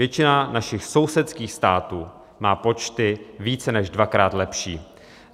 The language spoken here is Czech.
Většina našich sousedských států má počty více než dvakrát lepší.